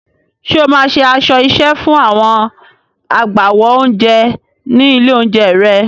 Ṣé o máa ṣe aṣọ iṣẹ́ fún àwọn agbáwo oúnjẹ ní ilé-oúnjẹ rẹ?